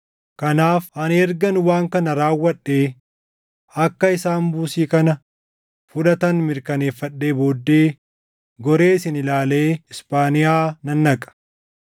Kanaaf ani ergan waan kana raawwadhee, akka isaan buusii kana fudhatan mirkaneeffadhee booddee goree isin ilaalee Isphaaniyaa nan dhaqa.